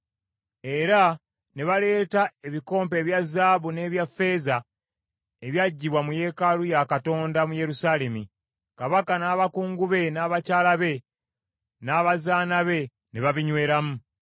Era ne baleeta ebikompe ebya zaabu n’ebya ffeeza ebyaggyibwa mu yeekaalu ya Katonda mu Yerusaalemi, kabaka n’abakungu be, n’abakyala be n’abazaana be ne babinyweramu.